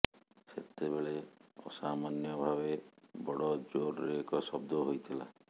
ସେତେବେଳେ ଅସାମାନ୍ୟ ଭାବେ ବଡ଼ ଜୋରରେ ଏକ ଶବ୍ଦ ହୋଇଥିଲା